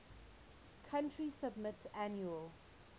country submit annual